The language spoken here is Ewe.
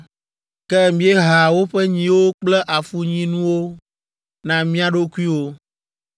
Ke mieha woƒe nyiwo kple afunyinuwo na mía ɖokuiwo.